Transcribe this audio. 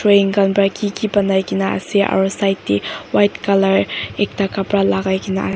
khan para kiki banai kene ase aru side te white colour ekta kapara lagai kene.